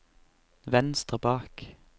venstre bak